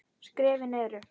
Skrefin eru